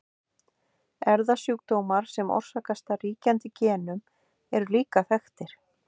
erfðasjúkdómar sem orsakast af ríkjandi genum eru líka þekktir